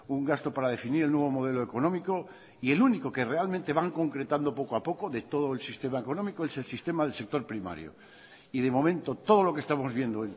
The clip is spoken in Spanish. un gasto para definir el nuevo modelo económico y el único que realmente van concretando poco a poco de todo el sistema económico es el sistema del sector primario y de momento todo lo que estamos viendo